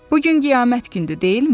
Bu gün qiyamət gündü, deyilmi?